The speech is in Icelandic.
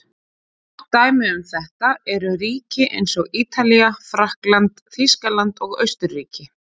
Gott dæmi um þetta eru ríki eins og Ítalía, Frakkland, Þýskaland og Austurríki.